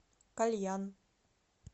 кальян